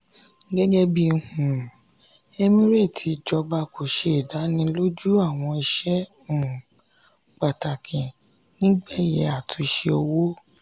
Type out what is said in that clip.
gẹ́gẹ́ bíi um emirate ìjọba kò ṣe ìdánilójú àwọn iṣẹ́ um pàtàkì nígbẹyẹ àtúnṣe owó.